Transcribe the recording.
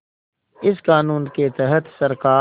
इस क़ानून के तहत सरकार